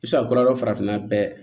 I bɛ se ka kɔlɔlɔ farafinna bɛɛ